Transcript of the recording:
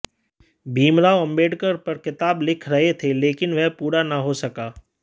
भीमराव अम्बेडकर पर किताब लिख रहे थे लेकिन वह पूरा न हो सका